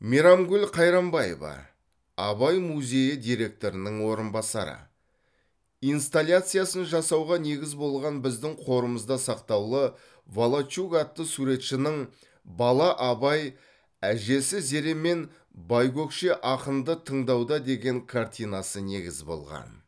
мейрамгүл қайрамбаева абай музейі директорының орынбасары инсталяциясын жасауға негіз болған біздің қорымызда сақтаулы волочук атты суретшінің бала абай әжесі зеремен байкөкше ақынды тыңдауда деген картинасы негіз болған